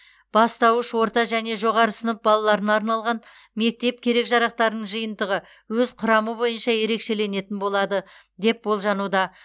бастауыш орта және жоғары сынып балаларына арналған мектеп керек жарақтарының жиынтығы өз құрамы бойынша ерекшеленетін болады деп болжануда